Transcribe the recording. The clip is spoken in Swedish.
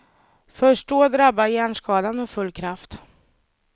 Först då drabbar hjärnskadan med full kraft.